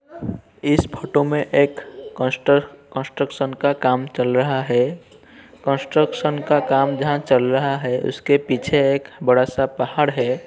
इस फ़ोटो में एक कोस्टर कंस्ट्रक्शन का काम चल रहा है। कंस्ट्रक्शन का काम जहाॅं चल रहा है उसके पीछे एक बड़ा पहाड़ है।